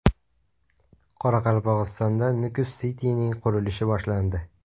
Qoraqalpog‘istonda Nukus City’ning qurilishi boshlandi.